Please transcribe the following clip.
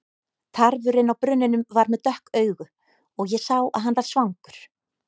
Tarfurinn á brunninum var með dökk augu og ég sá að hann var svangur.